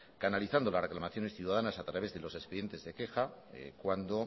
canalizando las reclamaciones ciudadanas a través de los expedientes de queja cuando